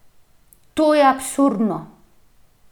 To je absurdno!